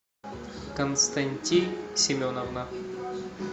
константин семеновна